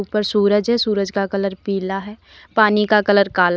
ऊपर सूरज है सूरज का कलर पीला है पानी का कलर काला--